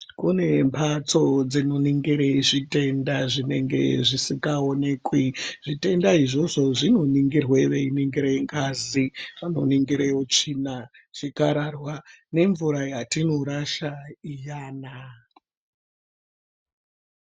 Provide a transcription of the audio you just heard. Kune mbatso dzinoningira zvitenda zvinenga zvisingaonekwi zvitenda izvozvo zviningirwa vei ningira ngazi vanoningira utsvina zvikararwa nemvura yatinorasha iyana.